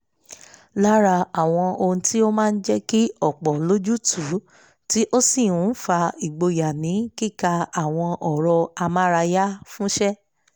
lára àwọn ohun tí ó máa jẹ́ kí ọ̀pọ̀ lójútùú tí ó sì ń fà ìgboyà ni kíka àwọn ọ̀rọ̀ amárayáfúnṣẹ́